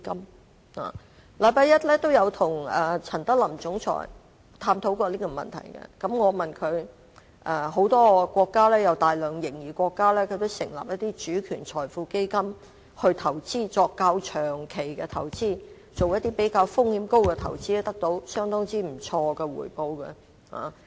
我在同日與香港金融管理局總裁陳德霖探討這個問題時對他說，很多擁有大量盈餘的國家也成立主權財富基金，作較長期及風險較高的投資，亦得到相當不錯的回報。